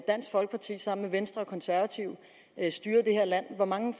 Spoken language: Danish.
dansk folkeparti sammen med venstre og konservative styrede det her land hvor mange